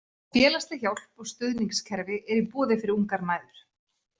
Félagsleg hjálp og stuðningskerfi eru í boði fyrir ungar mæður.